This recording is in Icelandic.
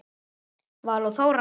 Vala og Þóra.